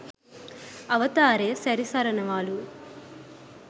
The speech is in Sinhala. අවතාරය සැරිසරනවලු.